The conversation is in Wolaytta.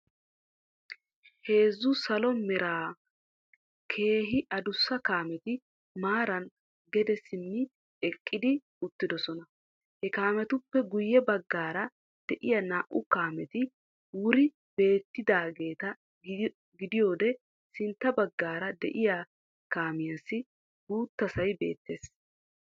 Heezzu salo mera keehi adussa kaameti maaran gede simmi eqqi uttidosona. Ha kaamettuppe guyye baggaara de'iya naa''u kaameti muri beettiyageetagidiyode sintta baggaara de'iya kaamiyassi guuttasay beettees.